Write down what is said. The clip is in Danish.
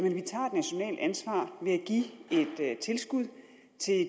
give et tilskud til